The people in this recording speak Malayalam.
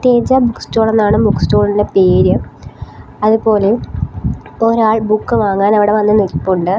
തേജ ബുക്ക് സ്റ്റോൾ എന്നാണ് ബുക്ക് സ്റ്റോളിന് പേര് അതുപോലെ ഒരാൾ ബുക്ക് വാങ്ങാൻ അവിടെ വന്ന് നിൽപ്പുണ്ട്.